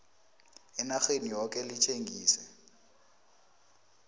enarheni yoke litjengise